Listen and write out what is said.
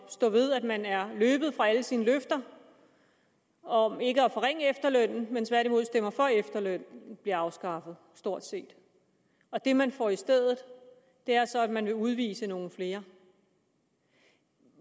stå ved at man er løbet fra alle sine løfter om ikke at forringe efterlønnen men tværtimod stemmer for at efterlønnen bliver afskaffet stort set og det man får i stedet er så at man vil udvise nogle flere